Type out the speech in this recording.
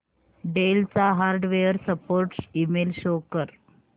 del चा hardware support email show कर